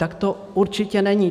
Tak to určitě není.